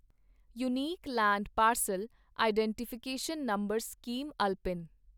unique land parcel identification number scheme ULPIN